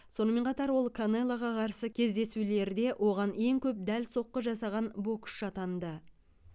сонымен қатар ол канелоға қарсы кездесулерде оған ең көп дәл соққы жасаған боксшы атанды